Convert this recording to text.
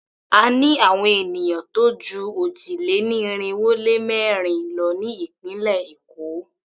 A ní àwon ènìyàn tó jú òjì-lé-ní-irinwó-lé-mẹ́rin lọ ní ìpínlẹ̀ Èkó.